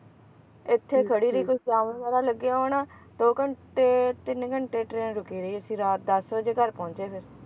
ਇੱਥੇ ਖੜੀ ਰਹੀ ਕੋਈ ਵਗੈਰਾ ਲੱਗੇ ਹੋਣ ਦੋ ਘੰਟੇ ਤਿੰਨ ਘੰਟੇ train ਰੁਕੀ ਰਹੀ ਇੱਥੇ ਅਸੀਂ ਰਾਤ ਦੱਸ ਵਜੇ ਘਰ ਪਹੁੰਚੇ ਫੇਰ